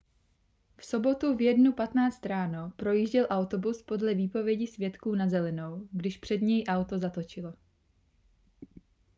v sobotu v 1:15 ráno projížděl autobus podle výpovědi svědků na zelenou když před něj auto zatočilo